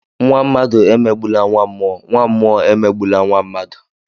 Nnwa mmadụ emegbula nnwa mmụọ, nnwa mmụọ emegbula nnwa mmadụ